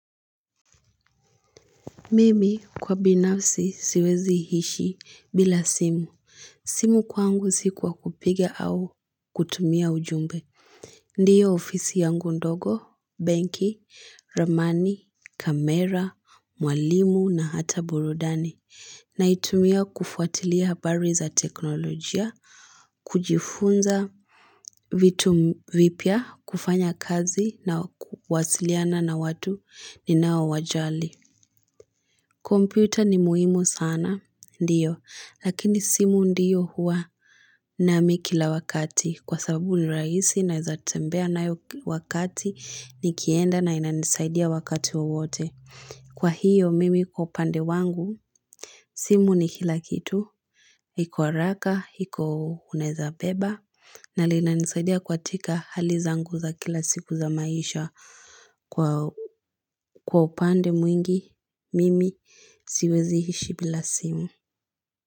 Mimi kwa binafsi siwezi ishi bila simu. Simu kwangu si kwa kupiga au kutumia ujumbe. Ndiyo ofisi yangu ndogo, benki, ramani, kamera, mwalimu na hata burudani. Naitumia kufuatilia habari za teknolojia, kujifunza vitu vipya, kufanya kazi na kuwasiliana na watu ninao wajali. Kompyuta ni muhimu sana, ndio, lakini simu ndiyo huwa nami kila wakati, kwa sababu ni rahisi naeza tembea nayo wakati nikienda na inanisaidia wakati wowote. Kwa hiyo mimi kwa upande wangu, simu ni kila kitu, iko haraka, iko uneza beba, na linanisaidia katika hali zangu za kila siku za maisha. Kwa upande mwingi, mimi siwezi ishi bila simu.